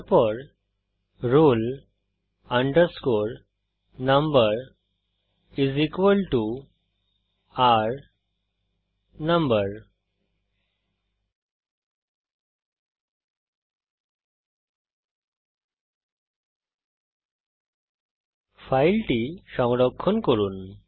তারপর roll number r number ফাইলটি সংরক্ষণ করুন